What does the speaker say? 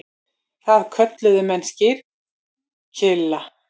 Það kölluðu menn skyrkylla.